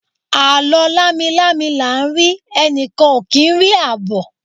alo lami-lami la n ri, enikan o ki n ri abo